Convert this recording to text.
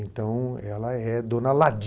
Então, ela é dona Ladi.